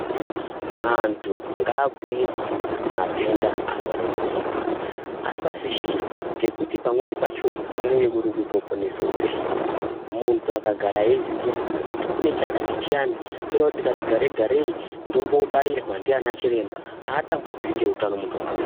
Antu ngabhure matenda azare munyika asafishirwa ngekuti pamweni pachona kunonge kuri kutoponese upenyu. Muntu akagara eiziya kuti kune chakati chiyani choda kuti ndikati gare-garei, ndombo bairwa ndiana chiremba haatambudziki ngeutano muntu akadaro.